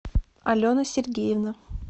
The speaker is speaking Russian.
алена сергеевна